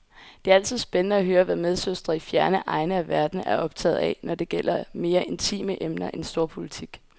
Det er altid spændende at høre, hvad medsøstre i fjerne egne af verden er optaget af, når det gælder mere intime emner end storpolitik.